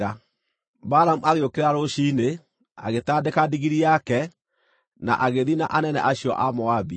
Balamu agĩũkĩra rũciinĩ, agĩtandĩka ndigiri yake, na agĩthiĩ na anene acio a Moabi.